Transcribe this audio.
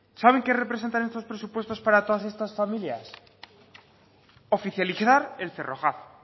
saben qué representan estos presupuestos para todas estas familias oficializar el cerrojazo